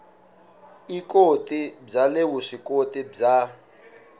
ikoti bya le vuswikoti bya